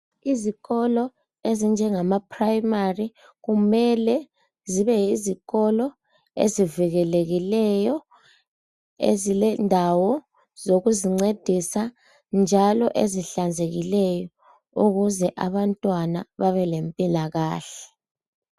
Izikolo ezinjengama primary kumele zibe yizikolo ezivikelekileyo .Ezilendawo zokuzincedisa njalo ezihlanzekileyo ukuze abantwana babe lempilakahle.